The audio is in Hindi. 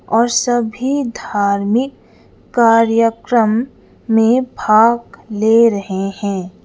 और सभी धार्मिक कार्यक्रम में भाग ले रहे हैं।